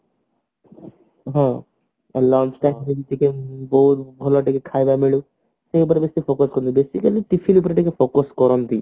ହଁ ଆଉ lunch ଭଲ ଟିକେ ଖାଇବା ମିଳୁ ତ ଉପରେ ବେଶୀ focus କରନ୍ତି basically tiffin ଉପରେ ଟିକେ focus କରନ୍ତି